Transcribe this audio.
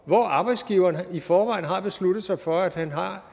hvor arbejdsgiveren i forvejen har besluttet sig for at han